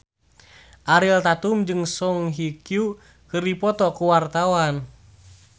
Ariel Tatum jeung Song Hye Kyo keur dipoto ku wartawan